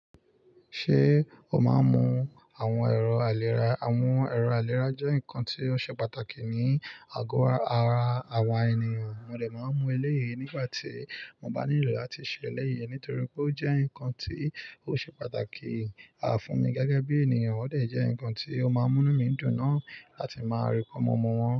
Ṣé o máa ń mu àwọn ẹ̀rọ àlèrá? Àwọn ẹ̀rọ àlèrá jẹ́ nǹkan tí ó ṣe pàtàkì ní àgọ ara àwa ènìyàn. Mo dè máa mú eléyìí nígbà tí mo bá nílò láti ṣe eléyìí nítorí pé ó jẹ́ ǹkan tí ó ṣe pàtàkì fún mi gẹ́gẹ́ bí ènìyàn, ó dè jẹ́ ǹkan tí ó máa ń mú inu mí dùn náà láti máa rí bí mo mu wọn.